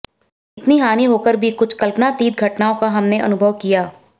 इतनी हानी होकर भी कुछ कल्पनातीत घटनाआें का भी हमने अनुभव किया